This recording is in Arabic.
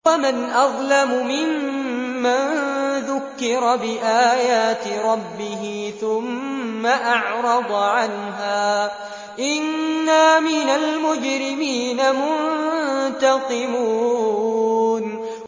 وَمَنْ أَظْلَمُ مِمَّن ذُكِّرَ بِآيَاتِ رَبِّهِ ثُمَّ أَعْرَضَ عَنْهَا ۚ إِنَّا مِنَ الْمُجْرِمِينَ مُنتَقِمُونَ